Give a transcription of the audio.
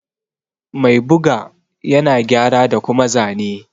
Mai ɓuga ƴana gƴara da kuma zane.